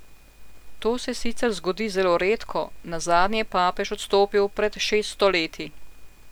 To se sicer zgodi zelo redko, nazadnje je papež odstopil pred šeststo leti.